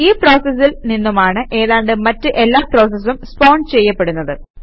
ഈ പ്രോസസിൽ നിന്നുമാണ് ഏതാണ്ട് മറ്റ് എല്ലാ പ്രോസസസും സ്പോൺ ചെയ്യപ്പെടുന്നത്